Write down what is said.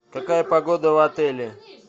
какая погода в отеле